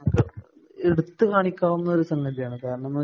നമുക്ക് എടുത്തു കാണിക്കാവുന്ന ഒരു സംഗതിയാണ്. കാരണം എന്ന് വച്ചാ